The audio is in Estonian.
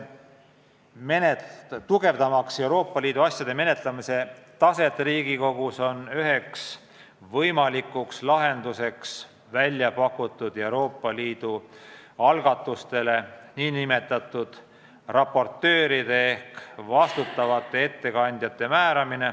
Tugevdamaks Euroopa Liidu asjade menetlemise taset Riigikogus, on üks võimalik lahendus määrata välja pakutud Euroopa Liidu algatustele nn raportöörid ehk vastutavad ettekandjad.